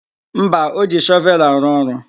Mba, o ji shọvelụ arụ ọrụ.